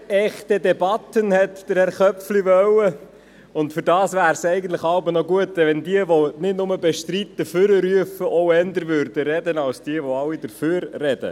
Mehr echte Debatten» wurde von Herrn Köpfli gewünscht, und dafür wäre es hin und wieder gut, wenn jene, die nur «bestreiten» nach vorne rufen, auch eher sprechen würden, als jene, die dafür sprechen.